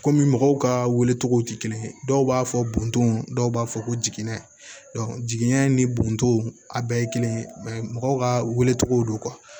Kɔmi mɔgɔw ka wele cogo tɛ kelen ye dɔw b'a fɔ buntonw dɔw b'a fɔ ko jiginɛ jigiɲɛ ni botow a bɛɛ ye kelen ye mɔgɔw ka welecogo don